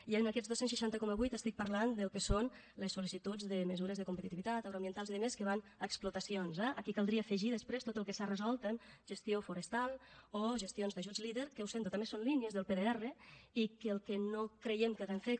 i en aquests dos cents i seixanta coma vuit estic parlant del que són les sol·licituds de mesures de competitivitat agroambientals i altres que van a explotacions eh aquí caldria afegir després tot el que s’ha resolt en gestió forestal o gestions d’ajuts leader que ho sento també són línies del pdr i que el que no creiem que hàgim fet